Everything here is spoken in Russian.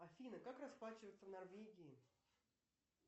афина как расплачиваться в норвегии